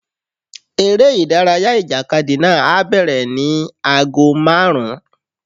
Eré ìdárayá ìjàkadì náà á bẹ̀rẹ̀ ní 5:00pm.